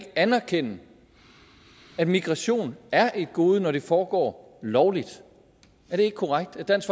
anerkende at migration er et gode når det foregår lovligt er det ikke korrekt at dansk